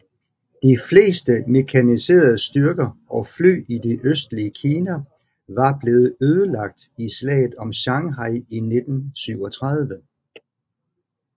De fleste mekaniserede styrker og fly i det østlige Kina var blevet ødelagt i Slaget om Shanghai i 1937